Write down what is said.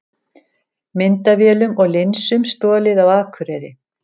Myndavélum og linsum stolið á Akureyri